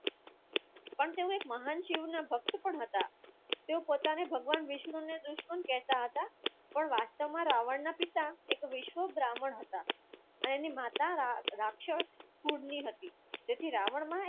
પણ તેઓ મહાન શિવના ભક્ત પણ હતા તેઓ પોતાને ભગવાન વિષ્ણુને દુશ્મન કહેતા હતા પણ વાસ્તવમાં રાવણના પિતા એક વિષ્ણુ બ્રાહ્મણ હતા અને એની માતા રાક્ષસ કુળ ની હતી તેથી રાવણમાં